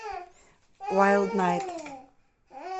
вайлд найт